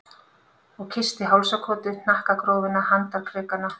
Og kyssti hálsakotið, hnakkagrófina, handarkrikana.